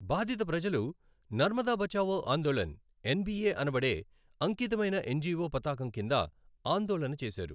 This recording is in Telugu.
బాధిత ప్రజలు నర్మదా బచావో ఆందోళన్, ఎన్బీఏ అనబడే అంకితమైన ఎన్జిఓ పతాకం కింద ఆందోళన చేసారు.